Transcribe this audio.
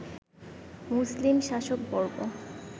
মুসলিম শাসকবর্গ